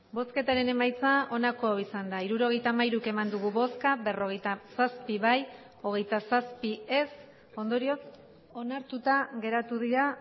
bosketaren emaitza onako izan da hirurogeita hamairu eman dugu bozka berrogeita zazpi bai hogeita zazpi ez ondorioz onartuta geratu dira